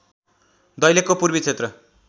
दैलेखको पूर्वी क्षेत्र